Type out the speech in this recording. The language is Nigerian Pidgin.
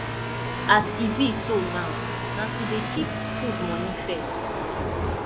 as e be so now na to dey keep food moni first